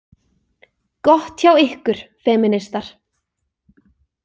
Gott hjá ykkur, femínistar.